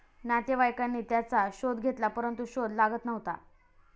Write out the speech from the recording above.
नातेवाईकांनी त्याचा शोध घेतला परंतु शोध लागत नव्हता.